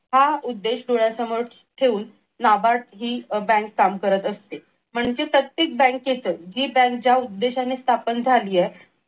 हा उद्देश डोळ्यासमोर ठेऊन नाबाड हि बँक काम करत असते म्हणजे प्रत्येक बँकेचं जी बँक ज्या उद्देशाने स्थापन झाली आहे.